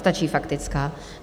Stačí faktická.